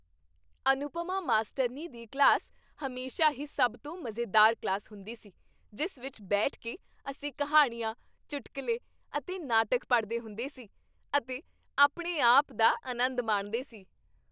ਅਨੁਪਮਾ ਮਾਸਟਰਨੀ ਦੀ ਕਲਾਸ ਹਮੇਸ਼ਾ ਹੀ ਸਭ ਤੋਂ ਮਜ਼ੇਦਾਰ ਕਲਾਸ ਹੁੰਦੀ ਸੀ ਜਿਸ ਵਿੱਚ ਬੈਠ ਕੇ ਅਸੀਂ ਕਹਾਣੀਆਂ, ਚੁਟਕਲੇ ਅਤੇ ਨਾਟਕ ਪੜ੍ਹਦੇ ਹੁੰਦੇ ਸੀ ਅਤੇ ਆਪਣੇ ਆਪ ਦਾ ਆਨੰਦ ਮਾਣਦੇ ਸੀ।